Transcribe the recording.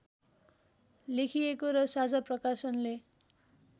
लेखिएको र साझा प्रकाशनले